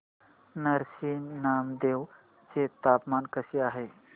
नरसी नामदेव चे तापमान कसे आहे